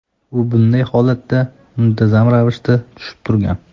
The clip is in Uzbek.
U bunday holatga muntazam ravishda tushib turgan.